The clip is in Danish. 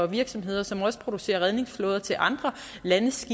virksomheder som også producerer redningsflåder til andre landes